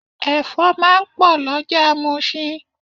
Ẹ̀fọ́ máa ń pò lọjà musin.